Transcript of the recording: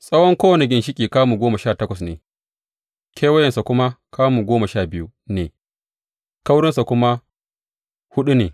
Tsawon kowane ginshiƙi kamu goma sha takwas ne, kewayensa kuwa kamu goma sha biyu ne, kaurinsa kuma huɗu ne.